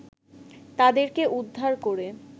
তাদেরকে উদ্ধার করে